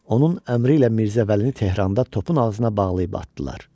Onun əmri ilə Mirzə Vəlini Tehranda topun ağzına bağlayıb atdılar.